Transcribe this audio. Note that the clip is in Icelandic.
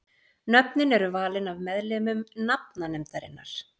Nöfnin eru valin af meðlimum nafnanefndarinnar.